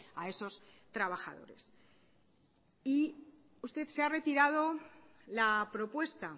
a esos trabajadores y usted se ha retirado la propuesta